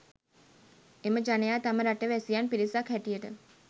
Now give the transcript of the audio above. එම ජනයා තම රට වැසියන් පිරිසක් හැටියට